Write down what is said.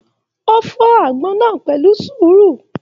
O fọ agbọn náà pẹ̀lú sùúrù.